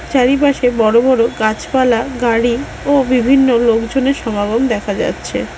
চারিপাশে বড়ো বড়ো গাছপালা গাড়ি ও বিভিন্ন লোকজনের সমাগম দেখা যাচ্ছে।